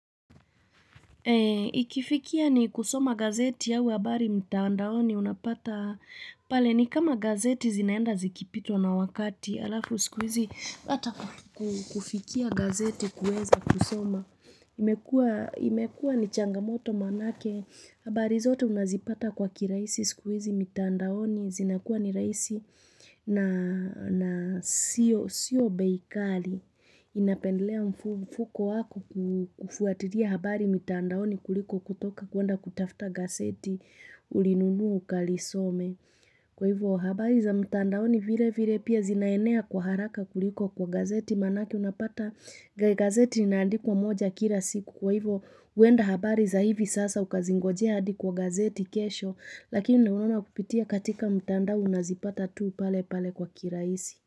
Eee, ikifikia ni kusoma gazeti au habari mtaandaoni unapata, pale ni kama gazeti zinaenda zikipitwa na wakati, alafu sikuizi, ata ku kufikia gazeti kueza kusoma, imekua, imekua ni changamoto manake, habari zote unazipata kwa kirahisi siku hizi mtaandaoni, zinakuwa ni rahisi na, na, siyo, siyo bei kali, inapendelea mfu mfuko wako kufu kufuaria habari mtaandaoni. Mtandaoni kuliko kutoka kuwenda kutafta gazeti ulinunua ukalisome. Kwa hivyo habari za mtandaoni vire vire pia zinaenea kwa haraka kuliko kwa gazeti manake unapata gazeti inaandikwa moja kira siku. Kwa hivyo uenda habari za hivi sasa ukazingoje hadi kwa gazeti kesho lakini unaoana kupitia katika mtandao unazipata tuu pale pale kwa kirahisi.